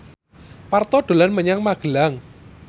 Parto dolan menyang Magelang